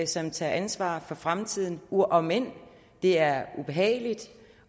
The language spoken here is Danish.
som tager ansvar for fremtiden om end det er ubehageligt